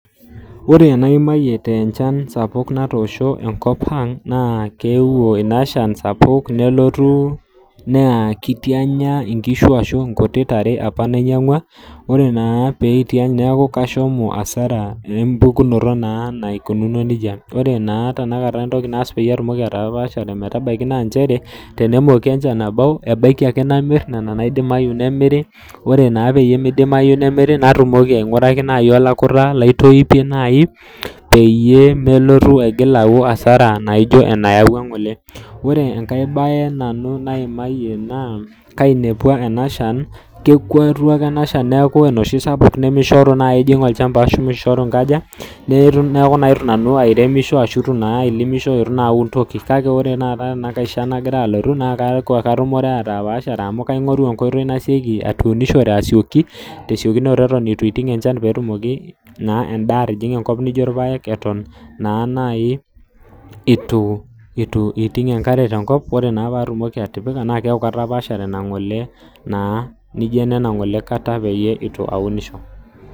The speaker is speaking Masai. Wore enaimayie tenchan sapuk natoosho enkop ang' naa keewuo inashan sapuk, nelotu naa kitianya inkishu ashu inkutik tare apa nainyiangua. Wore naa pee itiany neeku kashomo hasara empukunoto naa naikununo nejia. Wore naa tenakata entoki nass peyie atumoki atapaashare metabaiki naa nchere, tenemooki enchan abau, ebaiki ake namirr niana naidimayu nemiri, wore naa peyie midimayu nemiri natumoki ainguraki naai olakuta laitoipe naai peyie melotu aigil aau hasara naijo enayawua ng'ole. Wore enkae bae nanu naimayie naa kainepua ena shan, kekuatua ake ena shan neaku enoshi sapuk nemishoru naai ijing olchamba ashu mishoru inkaja, neeku naa itu nanu airemisho ashu itu naa ailimisho itu naa aun toki. Kake wore taata tenankae shan nakira alotu naa keaku katumore atapaashare amu kaingoru enkoitoi nasioki atuunushore asioki, tesiokunoto itu iiting enchan peetumoki naa endaa atijinga enkop nijo irpaek eton naa nai itu iiting enkare tenkop. Wore naa pee atumoki atipika, naa keaku katapaashare inangole naa nijo inanagole kata itu aunisho.